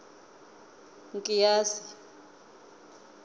nkiyasi